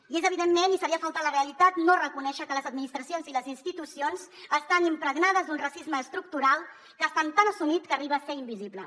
i és evidentment i seria faltar a la realitat no reconèixer ho que les administracions i les institucions estan impregnades d’un racisme estructural que està tan assumit que arriba a ser invisible